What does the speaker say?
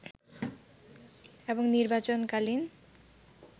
এবং নির্বাচন কালীন